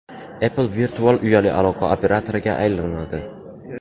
Apple virtual uyali aloqa operatoriga aylanadi .